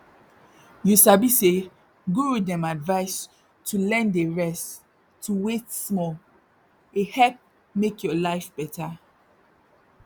you sabi say guru dem advise to learn dey rest to wait small help make your life better